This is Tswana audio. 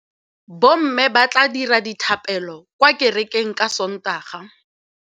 Bommê ba tla dira dithapêlô kwa kerekeng ka Sontaga.